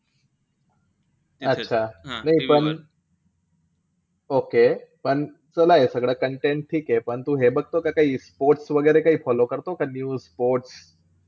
अच्छा नाई पण, okey. पण तुला हे सगळं content ठीके पण तू हे बघतो का काई sports वैगरे काई follow करतो का news sports